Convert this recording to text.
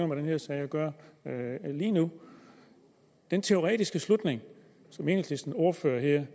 med den her sag at gøre lige nu den teoretiske slutning som enhedslistens ordfører her